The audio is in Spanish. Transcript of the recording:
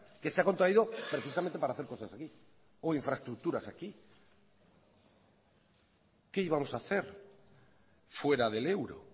que se ha contraído precisamente para hacer cosas aquí o infraestructuras aquí qué íbamos a hace fuera del euro